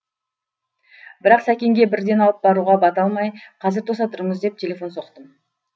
бірақ сәкенге бірден алып баруға бата алмай қазір тоса тұрыңыз деп телефон соқтым